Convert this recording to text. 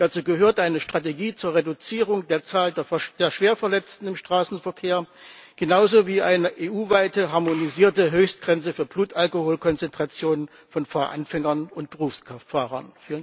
Dazu gehört eine Strategie zur Reduzierung der Zahl der Schwerverletzten im Straßenverkehr genauso wie eine EU weite, harmonisierte Höchstgrenze für Blutalkoholkonzentrationen von Fahranfängern und Berufskraftfahrern.